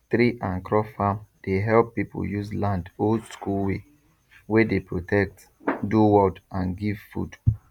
tree and crop farm dey help people use land oldschool way wey dey protect do world and give food